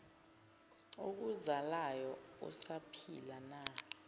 okuzalayo usaphila na